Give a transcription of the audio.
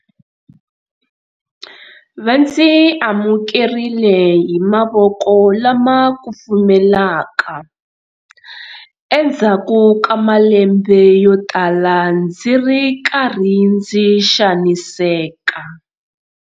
Va ndzi amukerile hi mavoko lama kufumelaka endzhaku ka malembe yo tala ndzi ri karhi ndzi xaniseka.